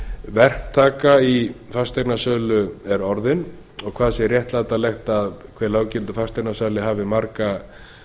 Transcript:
verktaka í fasteignasölu er orðin og hvað sé réttlætanlegt að hver löggiltur fasteignasali hafi marga